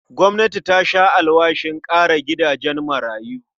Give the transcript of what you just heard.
Gwamnati ta sha alwashin ƙara gidajen marayu.